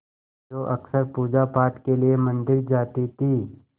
जो अक्सर पूजापाठ के लिए मंदिर जाती थीं